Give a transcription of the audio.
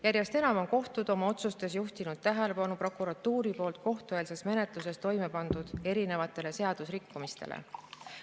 Järjest enam on kohtud oma otsustes juhtinud tähelepanu erinevatele prokuratuuri poolt kohtueelses menetluses toime pandud seaduserikkumistele.